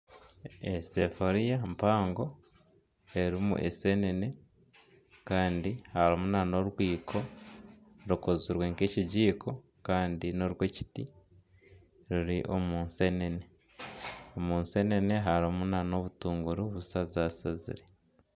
Esafuuriya mpango erimu ensenene kandi harimu na n'orwiiko rukozirwe nka ekijiko kandi n'orw'ekiti ruri omu nsenene, omu nsenene harimu na obutuunguru bushazashazire.